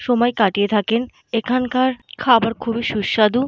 সময় কাটিয়ে থাকেন। এখনকার খাবার খুবই সুস্বাদু।